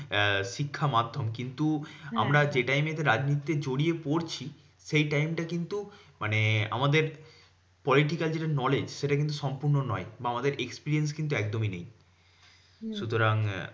আহ শিক্ষা মাধ্যম। কিন্তু আমরা যে time এতে রাজনীতিতে জড়িয়ে পড়ছি, সেই time তা কিন্তু মানে আমাদের political যেটা knowledge সেটা কিন্তু সম্পূর্ণ নয়। বা আমাদের experience কিন্তু একদমই নেই। সুতরাং আহ